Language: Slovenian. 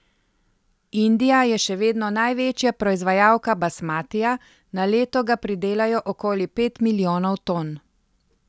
Indija je še vedno največja proizvajalka basmatija, na leto ga pridelajo okoli pet milijonov ton.